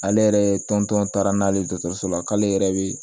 Ale yɛrɛ tɔntɔn taara n'ale ye dɔgɔtɔrɔso la k'ale yɛrɛ be